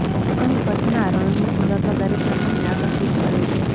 અહીં કચ્છના રણની સુંદરતા દરેકના મનને આકર્ષિત કરે છે